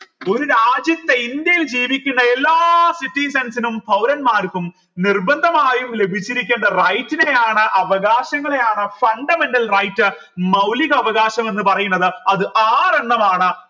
ഒരു രാജ്യത്തെ ഇന്ത്യയിൽ ജീവിക്കുന്ന എല്ലാ citizens നും പൗരന്മാർക്കും നിർബന്ധമായും ലഭിച്ചിരിക്കണ്ട rights നെ ആണ് അവകാശങ്ങളെയാണ് fundamental right മൗലിക അവകാശം എന്ന് പറയുന്നത് അത് ആറെണ്ണമാണ്